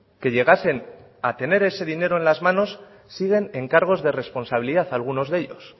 que llegasen a tener ese dinero en las manos siguen en cargos de responsabilidad algunos de ellos